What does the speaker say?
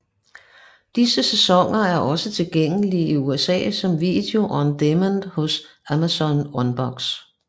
Disse sæsoner er også tilgængelige i USA som video on demand hos Amazon Unbox